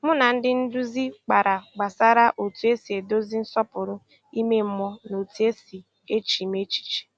Mụ na ndị nduzi kpara gbasara otu esi edozi nsọpụrụ ime mmụọ na otu esi echemi echiche